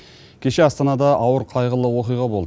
кеше астанада ауыр қайғылы оқиға болды